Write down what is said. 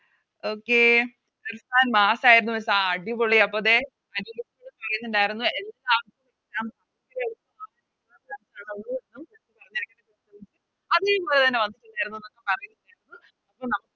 Okay ആഹ് അടിപൊളി അപ്പൊ ദേ ണ്ടാരുന്നു അപ്പൊ എല്ലാർക്കും